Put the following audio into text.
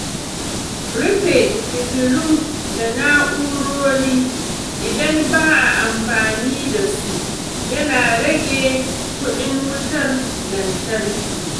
Rufe fitilu da na’urori idan ba a amfani da su yana rage kuɗin wutar lantarki.